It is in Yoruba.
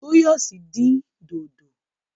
Toyosi dín dòdò.